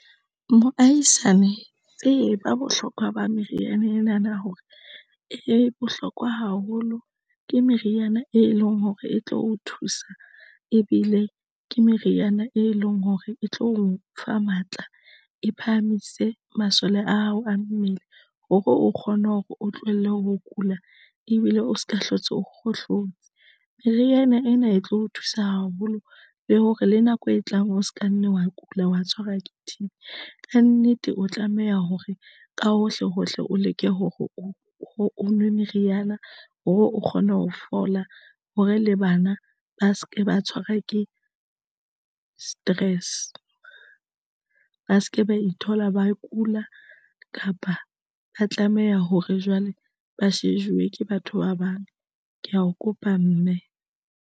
Moahisane tseba bohlokwa ba meriana ena na hore e bohlokwa haholo ke meriana, e leng hore e tlo o thusa ebile ke meriana, e leng hore e tlo o fa matla e phahamise masole a hao a mmele hore o kgone hore o tlohelle ho kula ebile o se ka hlotse, o kgohlotse. Meriana ena e tlo o thusa haholo le hore le nako e tlang o se ka nna wa kula, wa tshwarwa ke T_B kannete o tlameha hore ka hohle hohle o leke hore o nwe meriana hore o kgona ho fola hore le bana ba se ke ba tshwarwa ke stress, ba se ke ba ithola, ba kula, kapa ba tlameha hore jwale ba shejuwe ke batho ba bang. Ke ya o kopa mme.